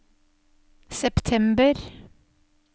september